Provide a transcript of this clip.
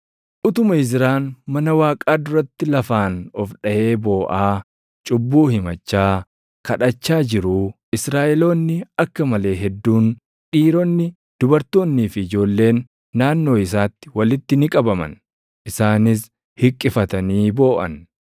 Utuma Izraan mana Waaqaa duratti lafaan of dhaʼee booʼaa, cubbuu himachaa, kadhachaa jiruu Israaʼeloonni akka malee hedduun dhiironni, dubartoonnii fi ijoolleen naannoo isaatti walitti ni qabaman. Isaanis hiqqifatanii booʼan.